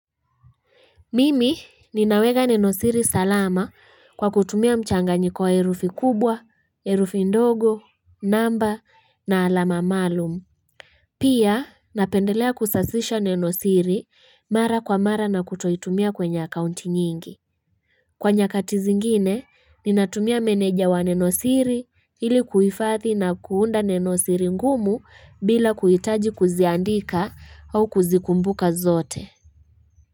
Mimi ninaweka nenosiri salama kwa kutumia mchanganyiko wa herufi kubwa, herufi ndogo, namba na alama maalum. Pia napendelea kusasisha nenosiri mara kwa mara na kutoitumia kwenye accounti nyingi. Kwa nyakati zingine, ninatumia meneja wa nenosiri ili kuhifathi na kuunda nenosiri ngumu bila kuhitaji kuziandika au kuzikumbuka zote.